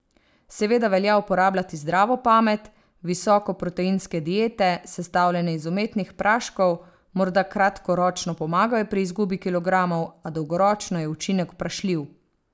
Seveda velja uporabljati zdravo pamet, visokoproteinske diete, sestavljene iz umetnih praškov, morda kratkoročno pomagajo pri izgubi kilogramov, a dolgoročno je učinek vprašljiv.